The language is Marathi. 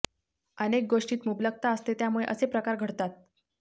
अनेक गोष्टीत मुबलकता असते त्यामुळे असे प्रकार घडतात